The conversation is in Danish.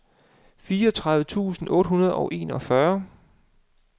fireogtredive tusind otte hundrede og enogfyrre